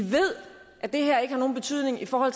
at det her ikke har nogen betydning for